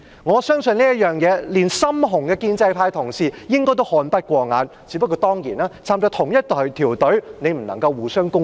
我相信對於這方面，就連"深紅"的建制派同事應該也看不過眼，只是大家份屬同一隊伍，當然不能夠互相攻擊。